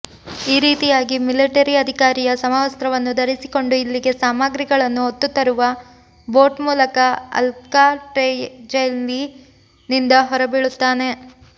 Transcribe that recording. ಈ ರಿತಿಯಾಗಿ ಮಿಲಿಟರಿಅಧಿಕಾರಿಯ ಸಮವಸ್ತ್ರವನ್ನು ಧರಿಸಿಕೊಂಡು ಇಲ್ಲಿಗೆ ಸಾಮಾಗ್ರಿಗಳನ್ನು ಹೊತ್ತುತರುವ ಬೋಟ್ ಮೂಲಕ ಅಲ್ಕಾಟ್ರಾಝ್ಜೈಲಿನಿಂದಹೊರಬೀಳುತ್ತಾನೆ